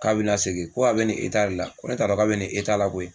K'a bɛ n lasegin, ko a bɛ ni la, ko ne t'a dɔn k'a bɛ nin la koyi.